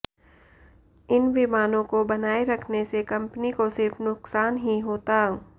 इन विमानों को बनाए रखने से कंपनी को सिर्फ नुकसान ही होता